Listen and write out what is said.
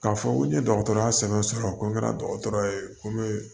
K'a fɔ ko n ye dɔgɔtɔrɔya sɛbɛn sɔrɔ ko n kɛra dɔgɔtɔrɔ ye ko n bɛ